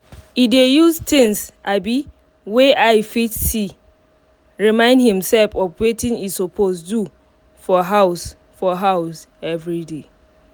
e dey use things um wey eye fit see um remind himself of watin e suppose do for house for house everyday